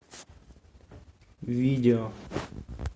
видео